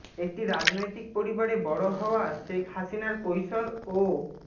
একটি রাজনৈতিক পরিবারে বড় হওয়া শেখ হাসিনার কৈশোর ও